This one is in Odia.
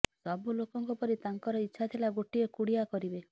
ସବୁ ଲୋକଙ୍କ ପରି ତାଙ୍କର ଇଚ୍ଛା ଥିଲା ଗୋଟିଏ କୁଡିଆ କରିବେ